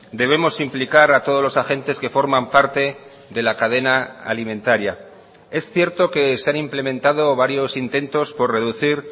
debemos implicar a todos los agentes que forman parte de la cadena alimentaria es cierto que se han implementado varios intentos por reducir